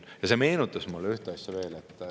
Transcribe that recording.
Ja see meenutas mulle ühte asja veel.